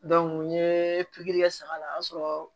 n ye pikiri kɛ saga la o y'a sɔrɔ